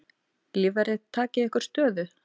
Lífverðir takið ykkur stöðu.